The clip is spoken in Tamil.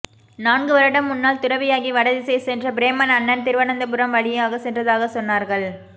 நான்குவருடம் முன்னால் துறவியாகி வடதிசை சென்ற பிரேமன் அண்ணன் திருவனந்தபுரம்வழியாகச் சென்றதாகவே சொன்னார்கள்